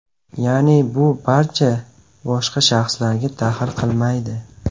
Ya’ni, bu barcha boshqa shaxslarga daxl qilmaydi.